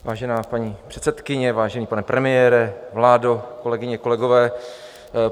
Vážená paní předsedkyně, vážený pane premiére, vládo, kolegyně, kolegové.